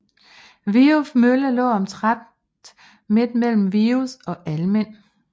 Viuf Mølle lå omtrent midt mellem Viuf og Almind